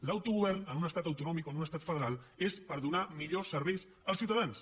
l’autogovern en un estat autonòmic o en un estat federal és per donar millors serveis als ciutadans